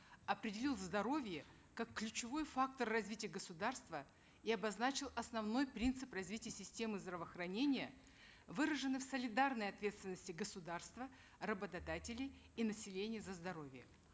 определил здоровье как ключевой фактор развития государства и обозначил основной принцип развития системы здравоохранения выраженный в солидарной ответственности государства работодателей и населения за здоровье